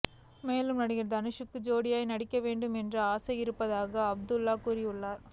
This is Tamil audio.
மேலும் நடிகர் தனுஷுக்கு ஜோடியாக நடிக்க வேண்டும் என்றும் ஆசை இருப்பதாக அதுல்யா கூறியுள்ளார்